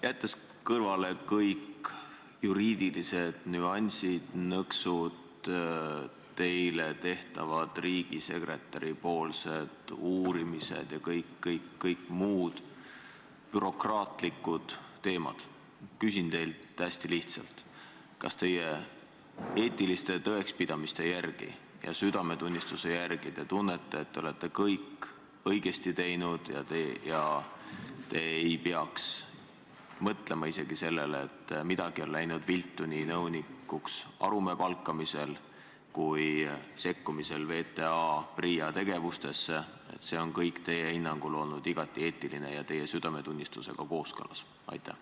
Jättes kõrvale kõik juriidilised nüansid ja nõksud, riigisekretäri tehtavad uurimised ja kõik-kõik muud bürokraatlikud teemad, küsin teilt hästi lihtsalt: kas te oma eetiliste tõekspidamiste ja südametunnistuse järgi tunnete, et olete kõik õigesti teinud ega peaks isegi mõtlema sellele, et midagi on läinud viltu nii Arumäe nõunikuks palkamisel kui ka sekkumisel VTA ja PRIA tegevusse, vaid et see kõik on teie hinnangul olnud igati eetiline ja teie südametunnistusega kooskõlas?